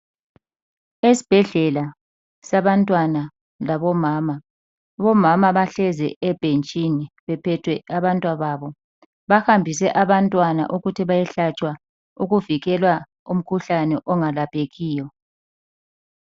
Esibhedlela sabantwana labomama. Bomama bahlezi ebhentshini. Bephethwe abantwababo. Bahambise abantwana ukuthi bayehlatshwa ukuvikelwa umkhuhlane ongelaphekiyo.